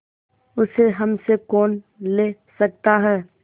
उसे हमसे कौन ले सकता है